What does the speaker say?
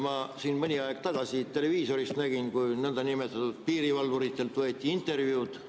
Ma mõni aeg tagasi televiisoris nägin, kui niinimetatud piirivalvuritelt võeti intervjuud.